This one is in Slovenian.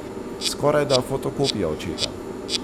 Skorajda fotokopija očeta.